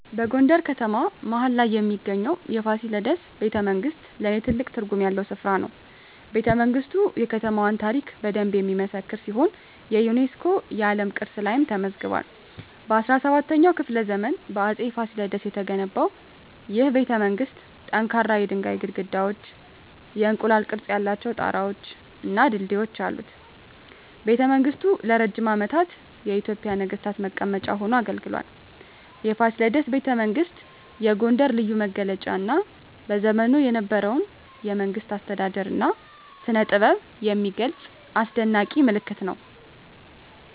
በጎንደር ከተማ መሀል ላይ የሚገኘው የፋሲለደስ ቤተመንግሥት ለኔ ትልቅ ትርጉም ያለው ስፍራ ነው። ቤተመንግስቱ የከተማዋን ታሪክ በደንብ የሚመሰክር ሲሆን የዩኔስኮ የዓለም ቅርስ ላይም ተመዝግቧል። በ17ኛው ክፍለ ዘመን በአፄ ፋሲለደስ የተገነባው ይህ ቤተመንግሥት ጠንካራ የድንጋይ ግድግዳዎች፣ የእንቁላል ቅርፅ ያላቸው ጣራወች እና ድልድዮች አሉት። ቤተመንግሥቱ ለረጅም ዓመታት የኢትዮጵያ ነገሥታት መቀመጫ ሆኖ አገልግሏል። የፋሲለደስ ቤተመንግሥት የጎንደርን ልዩ መገለጫ እና በዘመኑ የነበረውን የመንግሥት አስተዳደር እና ስነጥበብ የሚገልጽ አስደናቂ ምልክት ነው።